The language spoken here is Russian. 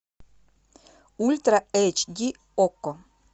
ультра эйч ди окко